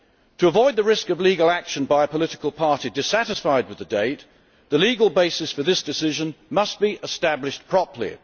To avoid the risk of legal action by a political party dissatisfied with the date, the legal basis for this decision must be established properly.